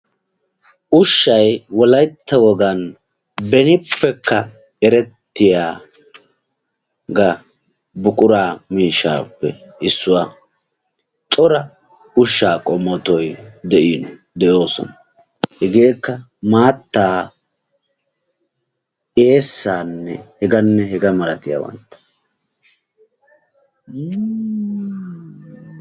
ushshay wollayta wogan benippekka erettiyaaga buqura miishshaappe issuwaa. cora ushshaa qommoti de"oosona. hegeekka maattaa eessaa hegaanne hegaa malatiyaabata.